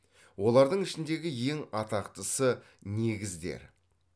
олардың ішіндегі ең атақтысы негіздер